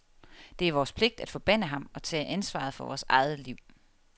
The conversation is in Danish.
Det er vores pligt at forbande ham og tage ansvaret for vores eget liv.